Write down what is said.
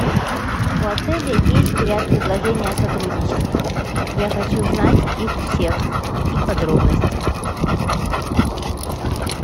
у отеля есть ряд предложений о сотрудничестве я хочу знать их всех и подробности